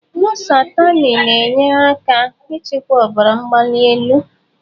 Lọsahtanị na-enyere aka ịchịkwa ọbara mgbali elu.